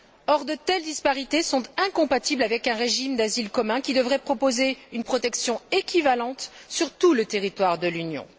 Or, de telles disparités sont incompatibles avec un régime d'asile commun qui devrait proposer une protection équivalente sur tout le territoire de l'Union.